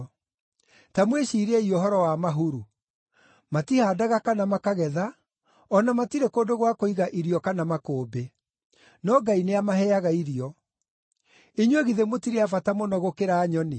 Ta mwĩciiriei ũhoro wa mahuru: Matihaandaga kana makagetha, o na matirĩ kũndũ gwa kũiga irio kana makũmbĩ, no Ngai nĩamaheaga irio. Inyuĩ githĩ mũtirĩ a bata mũno gũkĩra nyoni!